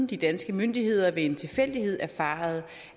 de danske myndigheder ved en tilfældighed erfarede